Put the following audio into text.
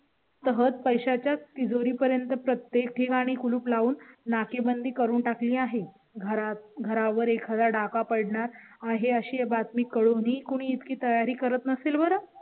तहत पैशा च्या तिजोरी पर्यंत प्रत्येक ठिकाणी कुलूप लावून नाकेबंदी करून टाकली आहे. घरात घरावर एखादा डाका पडणार आहे, अशी बातमी कळून ही कोणी इतकी तयारी करत नसेल बरं.